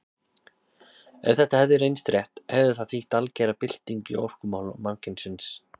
Ef þetta hefði reynst rétt hefði það þýtt algera byltingu í orkumálum mannkynsins.